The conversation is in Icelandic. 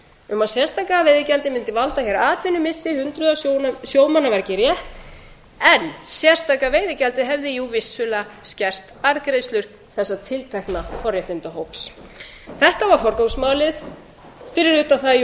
um að sérstaka veiðigjaldið mundi valda hér atvinnumissi hundruð sjómanna var ekki rétt en sérstaka veiðigjaldið hefði jú vissulega skert arðgreiðslur þessa tiltekna forréttindahóps þetta var forgangs málið fyrir utan það